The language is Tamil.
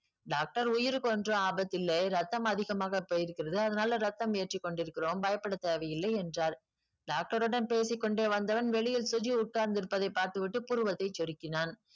doctor உயிருக்கொன்றும் ஆபத்தில்லை இரத்தம் அதிகமாக போயிருக்கிறது அதனால ரத்தம் ஏற்றிக் கொண்டிருக்கிறோம் பயப்படத் தேவையில்லை என்றார் doctor ரிடம் பேசிக் கொண்டே வந்தவன் வெளியில் சுஜி உட்கார்ந்திருப்பதைப் பார்த்துவிட்டு புருவத்தைச் சுருக்கினான்